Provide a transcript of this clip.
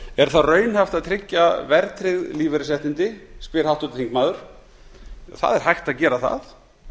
er það raunhæft að tryggja verðtryggð lífeyrisréttindi spyr háttvirtur þingmaður það er hægt að gera það